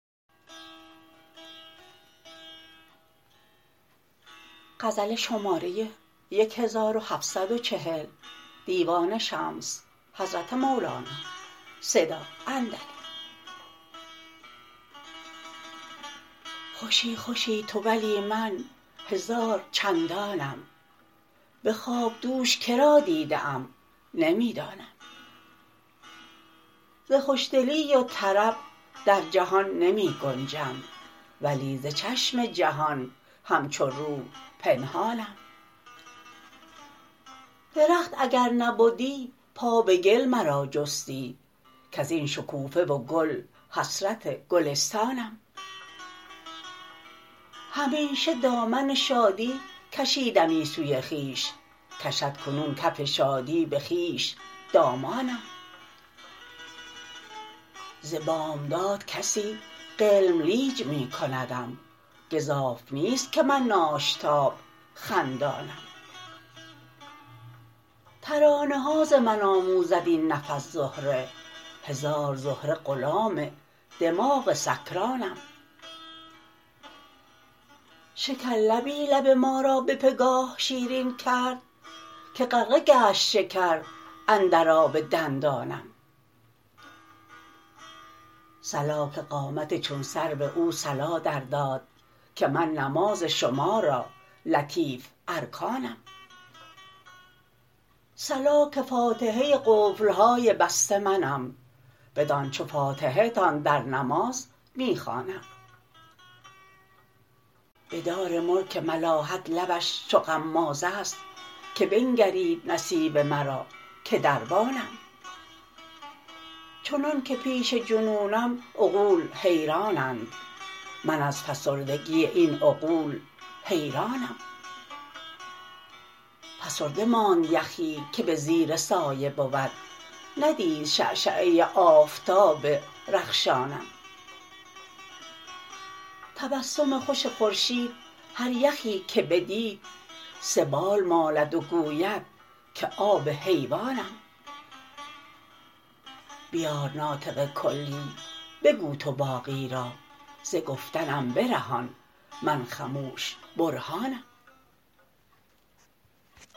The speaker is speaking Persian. خوشی خوشی تو ولی من هزار چندانم به خواب دوش که را دیده ام نمی دانم ز خوشدلی و طرب در جهان نمی گنجم ولی ز چشم جهان همچو روح پنهانم درخت اگر نبدی پا به گل مرا جستی کز این شکوفه و گل حسرت گلستانم همیشه دامن شادی کشیدمی سوی خویش کشد کنون کف شادی به خویش دامانم ز بامداد کسی غلملیج می کندم گزاف نیست که من ناشتاب خندانم ترانه ها ز من آموزد این نفس زهره هزار زهره غلام دماغ سکرانم شکرلبی لب ما را به گاه شیرین کرد که غرقه گشت شکر اندر آب دندانم صلا که قامت چون سرو او صلا درداد که من نماز شما را لطیف ارکانم صلا که فاتحه قفل های بسته منم بدان چو فاتحه تان در نماز می خوانم به دار ملک ملاحت لبش چو غماز است که بنگرید نصیب مرا که دربانم چنانک پیش جنونم عقول حیرانند من از فسردگی این عقول حیرانم فسرده ماند یخی که به زیر سایه بود ندید شعشعه آفتاب رخشانم تبسم خوش خورشید هر یخی که بدید سبال مالد و گوید که آب حیوانم بیار ناطق کلی بگو تو باقی را ز گفتنم برهان من خموش برهانم